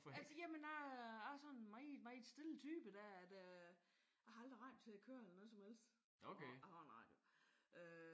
Altså jamen jeg er sådan en meget meget stille type der at øh jeg har aldrig radioen til at køre eller noget som helst. Jeg har en radio øh